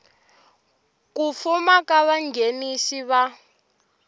ku fuma ka vanghenisi va